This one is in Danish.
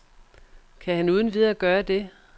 Kan han uden videre gøre det?